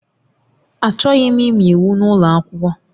Achọghị m ịmụ iwu n'ụlọ akwụkwọ